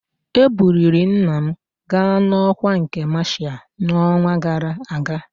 Ebuliri nna m ga n'ọkwa nke masha n'ọnwa gara aga